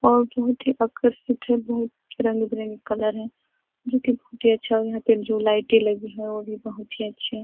और बहुत ही आकर्षित है बहुत ही रंग बिरंगी कलर हैं जो की बहुत ही अच्छायहाँ पर जो लाइटे लगी है वो भी बहुत ही अच्छे --